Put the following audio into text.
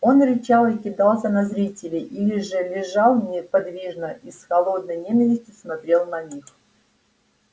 он рычал и кидался на зрителей или же лежал неподвижно и с холодной ненавистью смотрел на них